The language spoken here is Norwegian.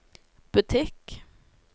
butikk